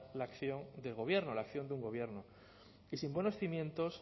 la acción del gobierno la acción de un gobierno y sin buenos cimientos